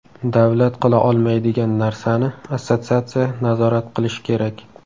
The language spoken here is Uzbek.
Davlat qila olmaydigan narsani assotsiatsiya nazorat qilish kerak.